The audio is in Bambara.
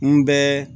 N bɛɛ